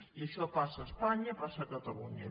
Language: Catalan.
i això passa a espanya i passa a catalunya